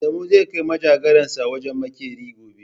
Adamu zai kai manjagaransa wajen maƙeri gobe.